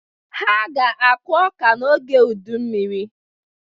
Ha ga-akụ ọ́kà n'oge udummiri.